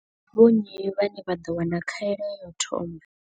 Ndi vho nnyi vhane vha ḓo wana khaelo ya u thoma.